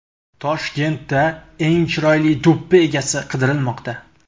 Toshkentda eng chiroyli do‘ppi egasi qidirilmoqda.